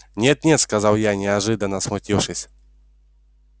нет-нет сказал я неожиданно смутившись